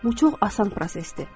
Bu çox asan prosesdir.